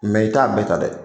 i t'a bɛɛ ta dɛ.